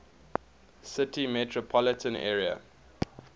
city metropolitan area